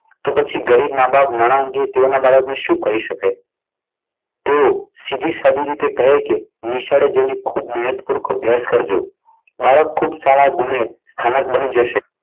તો પછી ગરીબ મા-બાપ નાણાં અંગે તેઓના બાળકને શું કહી શકે? તેવો સીધી સાદી રીતે કહે કે નિશાળે જઈને ખૂબ મહેનત અભ્યાસ કરજો. બાળક ખૂબ સારા ગુણે સ્થાનક બની જશે.